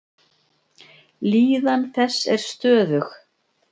Líðan þess er stöðug.